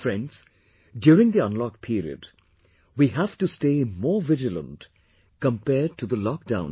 Friends, during the unlock period, we have to stay more vigilant compared to the lockdown period